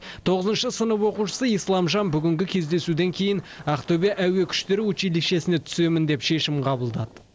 тоғызыншы сынып оқушысы исламжан бүгінгі кездесуден кейін ақтөбе әуе күштері училищесіне түсемін деп шешім қабылдады